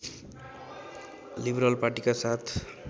liberal पार्टीका साथ